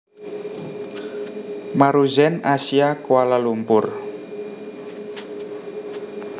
Maruzen Asia Kuala Lumpur